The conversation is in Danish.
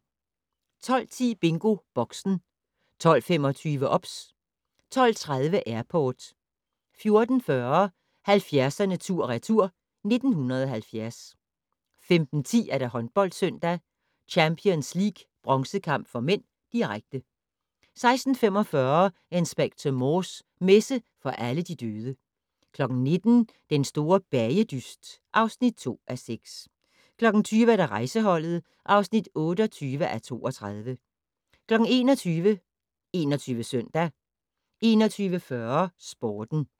12:10: BingoBoxen 12:25: OBS 12:30: Airport 14:40: 70'erne tur/retur: 1970 15:10: HåndboldSøndag: Champions League bronzekamp (m), direkte 16:45: Inspector Morse: Messe for alle de døde 19:00: Den store bagedyst (2:6) 20:00: Rejseholdet (28:32) 21:00: 21 Søndag 21:40: Sporten